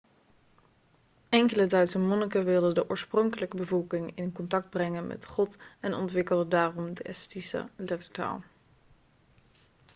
enkele duitse monniken wilden de oorspronkelijke bevolking in contact brengen met god en ontwikkelde daarom de estische lettertaal